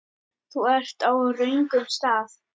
Þú ert á röngum stað